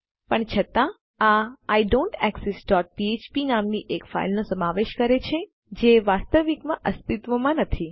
આ I don't exist dot ફ્ફ્પ I don't exist dot PHP નામની એક ફાઈલનો સમાવેશ કરે છે જે વાસ્તવમાં અસ્તિત્વમાં નથી